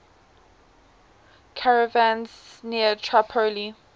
caravans near tripoli